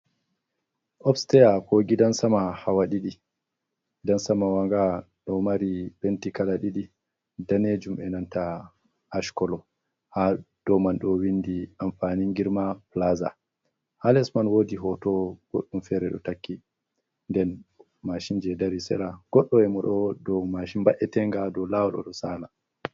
Obsteya ko gidan sama hawa ɗiɗi, gidan sama wa nga ɗo mari penti kala ɗiɗi, danejum enanta ash koolo, ha dou man ɗou windi amfanin girma pilaza. Ha lesman woodi hoto goɗɗum feere ɗo takki. Nden mashin je dari sera goɗɗo emo ɗo dou mashin ba'etenga ɗo laawol ɗo saala.